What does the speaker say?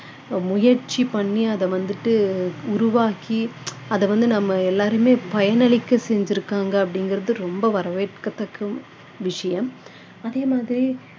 முயற்சி பண்ணி அதை வந்துட்டு உருவாக்கி அதை வந்து நம்ம எல்லாரையுமே பயன் அழிக்க செஞ்சிருக்காங்க அப்படிங்கிறது ரொம்ப வரவேற்கத்தக்க விஷயம் அதே மாதிரி